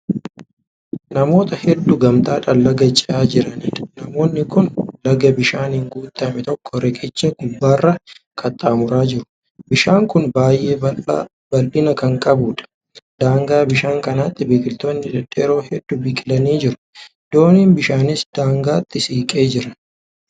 Namoota hedduu gamtaadhaan Laga ce'aa jiraniidha. namoonni Kuni Laga bishaaniin guutame tokko riqicha gubbaarraan qaxxaamuraa jiru. bishaan kuni baay'ee bal'ina Kan qabuudha. daangaa bishaan kanaatti biqiltoonni dhedheeroo hudduun biqilanii jiru. dooniin bishaanis daangaatti siqee Jira.